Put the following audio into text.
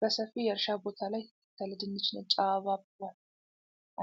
በሰፊ የእርሻ ቦታ ላይ የተተከለ ድንች ነጭ አበባ አብቧል።